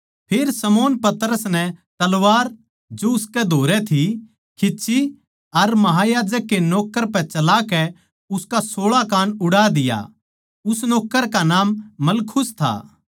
फेर शमौन पतरस नै तलवार जो उसकै धोरै थी खींच्ची अर महायाजक के नौक्कर पै चलाकै उसका सोळा कान उड़ा दिया उस नौक्कर का नाम मलखुस था